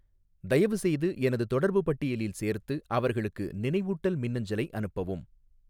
தயவுசெய்து எனது தொடர்பு பட்டியலில் சேர்த்து அவர்களுக்கு நினைவூட்டல் மின்னஞ்சலை அனுப்பவும்